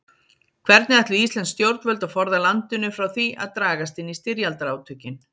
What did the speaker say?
Hvernig ætluðu íslensk stjórnvöld að forða landinu frá því að dragast inn í styrjaldarátökin?